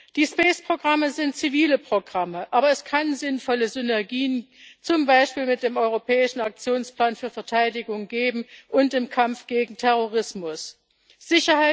Die Space Programme sind zivile Programme, aber es kann sinnvolle Synergien zum Beispiel mit dem europäischen Aktionsplan für Verteidigung und im Kampf gegen Terrorismus geben.